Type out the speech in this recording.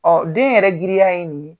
den yɛrɛ girin ya ye ni ye.